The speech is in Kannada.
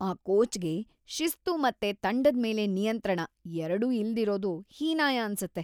ಆ ಕೋಚ್‌ಗೆ ಶಿಸ್ತು ಮತ್ತೆ ತಂಡದ್ ಮೇಲೆ ನಿಯಂತ್ರಣ ಎರ್ಡೂ ಇಲ್ದಿರೋದು ಹೀನಾಯ ಅನ್ಸತ್ತೆ.